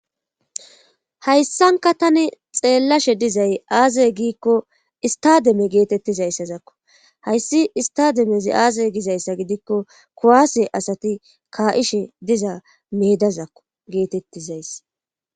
hayssanka tani xeellashe dizay aaze giikko istademe geetettizayssazakko hayssi istademezi aazay gizayssa gidikko kowaase asati kaa7ishe diza meedazakko geetettizays